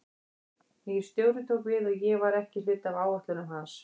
Nýr stjóri tók við og ég var ekki hluti af áætlunum hans.